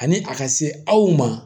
Ani a ka se aw ma